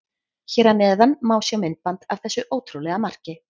Hér að neðan má sjá myndband af þessu ótrúlega marki.